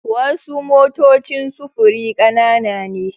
Wasu motocin sufuri kanana ne